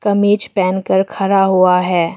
मेज पहन कर खड़ा हुआ है।